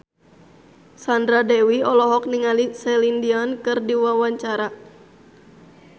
Sandra Dewi olohok ningali Celine Dion keur diwawancara